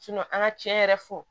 an ka cɛn yɛrɛ fɔ